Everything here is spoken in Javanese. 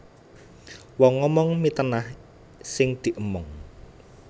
Wong momong mitenah sing diemong